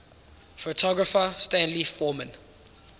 photographer stanley forman